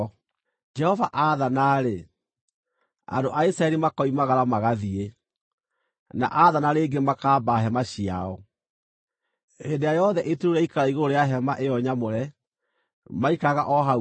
Jehova aathana-rĩ, andũ a Isiraeli makoimagara magathiĩ, na aathana rĩngĩ makaamba hema ciao. Hĩndĩ ĩrĩa yothe itu rĩu rĩaikara igũrũ rĩa Hema-ĩyo-Nyamũre, maikaraga o hau kambĩ.